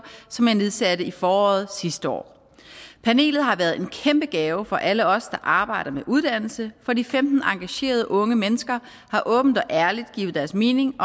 som jeg nedsatte i foråret sidste år panelet har været en kæmpe gave for alle os der arbejder med uddannelse for de femten engagerede unge mennesker har åbent og ærligt givet deres mening